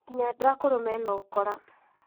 Nginya andũ akũrũ mena ũkora